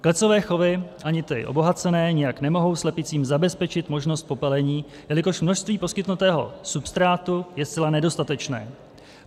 Klecové chovy, ani ty obohacené, nijak nemohou slepicím zabezpečit možnost popelení, jelikož množství poskytnutého substrátu je zcela nedostatečné.